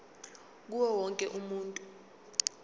kuwo wonke umuntu